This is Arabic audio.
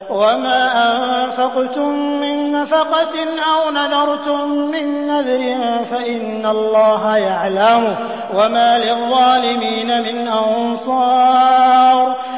وَمَا أَنفَقْتُم مِّن نَّفَقَةٍ أَوْ نَذَرْتُم مِّن نَّذْرٍ فَإِنَّ اللَّهَ يَعْلَمُهُ ۗ وَمَا لِلظَّالِمِينَ مِنْ أَنصَارٍ